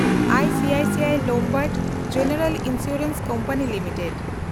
I C I C I Lombard general insurance company policy